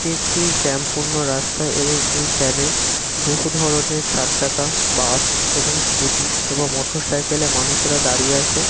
এটি একটি জ্যাম পূর্ণ রাস্তা এবং এই জ্যাম -এ বহু ধরনের চার চাকা বাস এবং স্কুটি এবং মোটরসাইকেল -এ মানুষেরা দাঁড়িয়ে আছে।